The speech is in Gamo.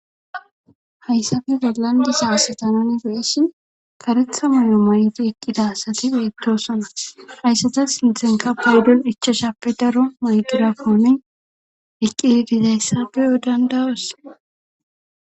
hayssafe gelandisa asatanan beesshi Karetha muyo may'ti eqqida asati beettosana hayssata sinthenka paydon ichashappe daro maygira komi eqqi dizayssabeyo dandayoos.